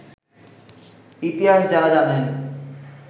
ইতিহাস যাঁরা জানেন